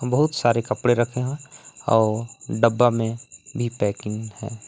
बहुत सारे कपड़े रखें हुए है और डब्बा में भी पैकिंग हैं।